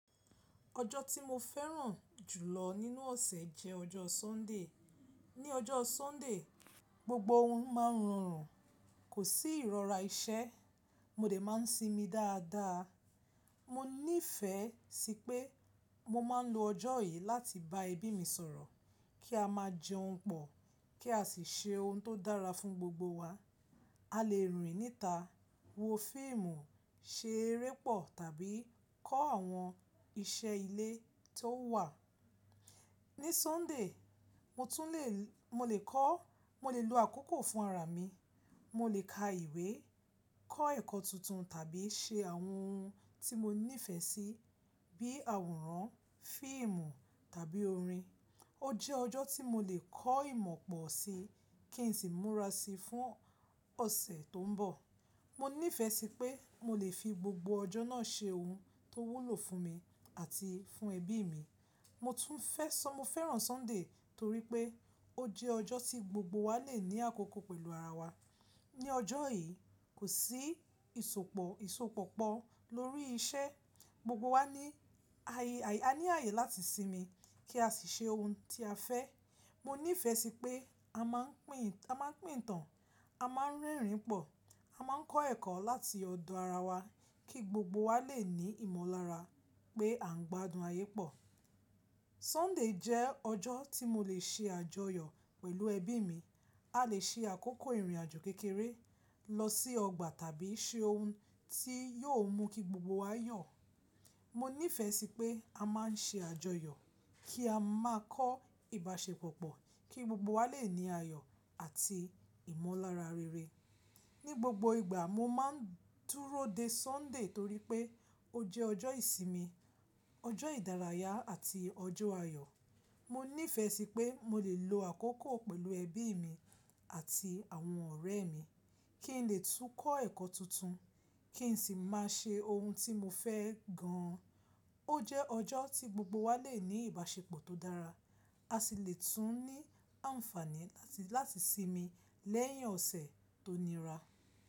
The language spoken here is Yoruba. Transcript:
Ọjọ́ tí mo fẹ́ràn jùlọ nínú ọ̀sẹ̀ jẹ́ ọjọ́ Sunday. Ni ọjọ́ Sunday, gbogbo ohun máa ń rọrùn, kò sí ìrora iṣẹ́, mo dè máa ń sinmi dáadáa. Mo nífẹ̀ẹ́ sí pé mo máa ń lo ọjọ́ yìí láti bá ẹbí mi sọ̀rọ̀, kí a máa jẹun pọ̀, kí a sì ṣe ohun tó dára fún gbogbo wa. A lè rìn níta, wo fíìmù, ṣe eré pọ̀ tàbí kọ́ àwọn iṣẹ́ ilé tó wà. Ní Sunday, mo tún lè, mo lè kọ́, mo lè lo àkókò fún ara mi, mo lè ka ìwé, kọ́ ẹ̀kọ́ tuntun tàbí ṣe àwọn ohun tí mo nífẹ̀ẹ́ sí bí àwòrán, fíìmù tàbí orin. Ó jẹ́ ọjọ́ tí mo lè kọ́ ìmọ̀ pọ̀ sí kí n sì múra sí fún ọ̀sẹ̀ tó ń bọ̀. Mo nífẹ̀ẹ́ sí pé mo lè fi gbogbo ọjọ́ náà ṣe ohun tó wúlò fún mi àti fún ẹbí mi. Mo tún fẹ́ sọ mo fẹ́ràn Sunday torí pé ó jẹ́ ọjọ́ tí gbogbo wa lè ní àkókò pẹ̀lú ara wa. Ni ọjọ́ yìí, kò sí ìsopọ̀, ìsopọ̀ pọ̀ lórí iṣẹ́, gbogbo wa ní àyè, a ní àyè láti sinmi kí a sì ṣe ohun tí a fẹ́. Mo nífẹ̀ẹ́ sí pé a máa ń pìtàn, a máa ń rẹ́rìn-ín pọ̀, a máa ń kọ́ ẹ̀kọ́ láti ọ̀dọ̀ ara wa kí gbogbo wa lè ní ìmọ̀lára pé à ń gbádùn ayé pọ̀. Sunday jẹ́ ọjọ́ tí mo lè ṣe àjọyọ̀ pẹ̀lú ẹbí mi. A lè ṣe àkókò ìrìnàjò kékeré, lọ sí ọgbà tàbí ṣe ohun tí yóò mú kí gbogbo wa yọ̀. Mo nífẹ̀ẹ́ sí pé a máa ń ṣe àjọyọ̀ kí a máa kọ́ ìbáṣepọ̀ pọ̀ kí gbogbo wa lè ní ayọ̀ àti ìmọ̀lára rere. Ni gbogbo ìgbà, mo máa ń dúró de Sunday torí pé ó jẹ́ ọjọ́ ìsinmi, ọjọ́ ìdárayá àti ọjọ́ ayọ̀. Mo nífẹ̀ẹ́ sí pé mo lè lo àkókò pẹ̀lú ẹbí mi àti àwọn ọ̀rẹ́ mi, kí n lè tún kọ́ ẹ̀kọ́ tuntun, kí n sì máa ṣe ohun tí mo fẹ́ gan an. Ó jẹ́ ọjọ́ tí gbogbo wa lè ní ìbáṣepọ̀ tó dára, a sì lè tún ní àǹfààní láti, láti sinmi lẹ́yìn ọ̀sẹ̀ tó nira.